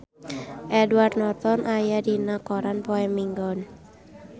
Edward Norton aya dina koran poe Minggon